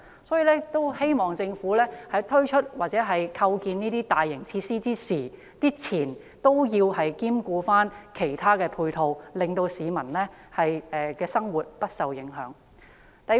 因此，我希望政府推出或興建這些大型設施之前，考慮提供其他配套措施和設施，令市民的生活不會因而受影響。